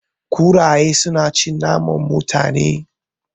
Kuraye su na cin naman Mutane